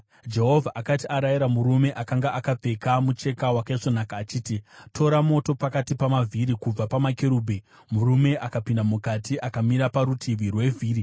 Jehovha akati arayira murume akanga akapfeka mucheka wakaisvonaka, achiti, “Tora moto pakati pamavhiri, kubva pamakerubhi,” murume akapinda mukati akamira parutivi rwevhiri.